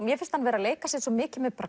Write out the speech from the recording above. mér finnst hann vera að leika sér svo mikið með